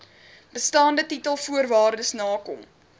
bestaande titelvoorwaardes nakom